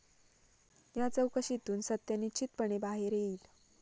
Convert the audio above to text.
या चौकशीतून सत्य निश्चितपणे बाहेर येईल.